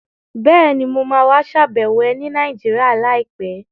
Bẹ́ẹ̀ni, mo ma wá ṣàbẹ̀wọ̀ ẹ ní Nàìjíríà láìpẹ́